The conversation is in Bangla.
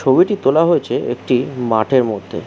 ছবিটি তোলা হয়েছে একটি মাঠের মধ্যে।